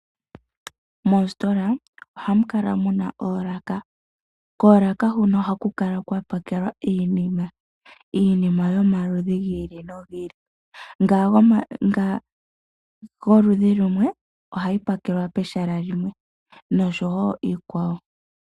Moositola ohamu kala muna oolaka. Koolaka hono ohaku kala kwa pakelwa iinima yomaludhi gi ili nogi ili, mbyoka yoludhi lumwe ohayi pakelwa pehala limwe, nosho wo iikwawo.